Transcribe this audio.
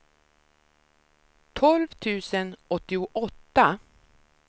tolv tusen åttioåtta